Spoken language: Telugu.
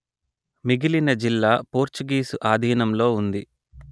మిగిలిన జిల్లా పోర్చుగీసు ఆధీనంలో ఉంది